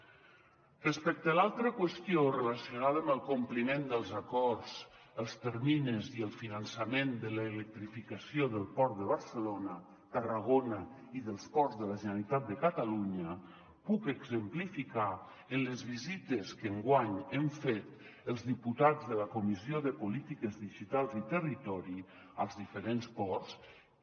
respecte a l’altra qüestió relacionada amb el compliment dels acords els terminis i el finançament de l’electrificació del port de barcelona tarragona i dels ports de la generalitat de catalunya puc exemplificar en les visites que enguany hem fet els diputats de la comissió de polítiques digitals i territori als diferents ports que